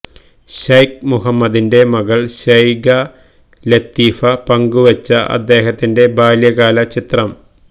Sheikh മുഹമ്മദിന്റെ മകൾ Sheikha Latifa പങ്കുവെച്ച അദ്ദേഹത്തിന്റെ ബാല്യകാല ചിത്രം